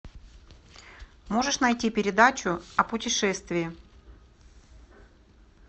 можешь найти передачу о путешествии